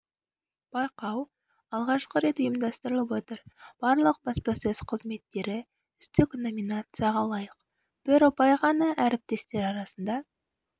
байқау алғашқы рет ұйымдастырылып отыр барлық баспасөз қызметтері үздік номинацияға лайық бір ұпай ғана әріптестер арасында